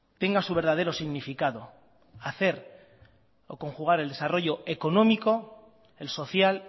tenga su verdadero significado hacer o conjugar el desarrollo económico el social